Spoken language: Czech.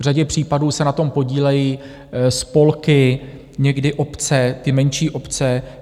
V řadě případů se na tom podílejí spolky, někdy obce, ty menší obce.